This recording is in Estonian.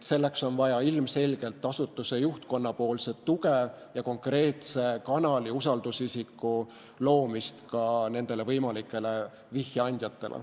Selleks on vaja ilmselgelt asutuse juhtkonna tuge ja konkreetse kanali, usaldusisiku loomist ka võimalikele vihjeandjatele.